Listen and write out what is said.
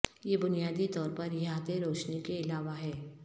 یہ بنیادی طور پر احاطے روشنی کے علاوہ ہے